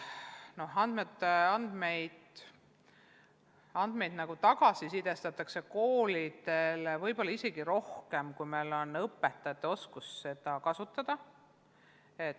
Andmeid tagasisisestatakse koolidele võib-olla isegi rohkem, kui õpetajad oskavad neid kasutada.